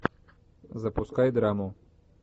запускай драму